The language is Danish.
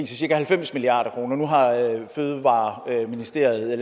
cirka halvfems milliard kroner nu har miljø og fødevareministeriet